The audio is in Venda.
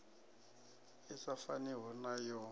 i sa faniho na yo